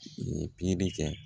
pikiri kɛ